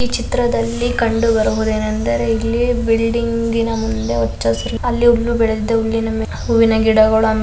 ಈ ಚಿತ್ರದಲ್ಲಿ ಕಂಡುಬರುವುದೇನೆಂದರೆ ಇಲಿ ಬಿಲ್ಡಿಂಗ್ ನ್ ಮುಂದೆ ಹಚ ಹಸಿರು ಆಮೇಲೆ --